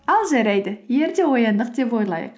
ал жарайды ерте ояндық деп ойлайық